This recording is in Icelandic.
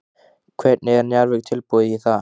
Hvernig er Njarðvík tilbúið í það?